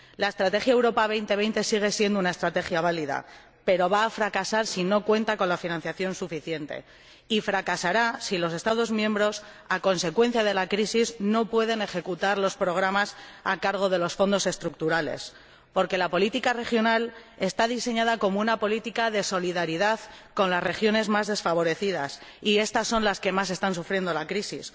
La Estrategia Europa 2020 sigue siendo una estrategia válida, pero va a fracasar si no cuenta con la financiación suficiente, y fracasará si los Estados miembros, a consecuencia de la crisis, no pueden ejecutar los programas financiados con cargo a los Fondos Estructurales, porque la política regional está diseñada como una política de solidaridad con las regiones más desfavorecidas, y estas son las que más están sufriendo la crisis.